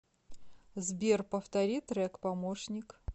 сбер повтори трек помощник